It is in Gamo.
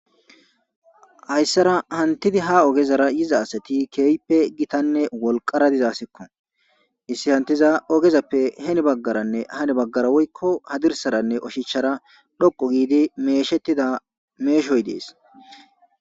Hayssara ha ogezara yiza asati keehippe gitanne wolqara diza asikko .izeti hantiza ogezas heni baggaranne hani baggara woyko hadirssaranne oshichchara dhoqqu giidi meeshettida meeshoyi de7es.